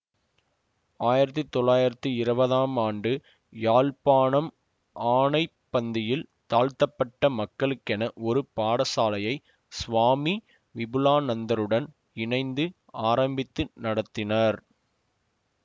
ஆயிரத்தி தொள்ளாயிரத்தி இருவதாம் ஆண்டு யாழ்ப்பாணம் ஆனைப்பந்தியில் தாழ்த்தப்பட்ட மக்களுக்கென ஒரு பாடசாலையை சுவாமி விபுலாநந்தருடன் இணைந்து ஆரம்பித்து நடத்தினார்